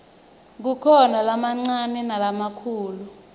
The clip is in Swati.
kukhona lamancane nalamakhulu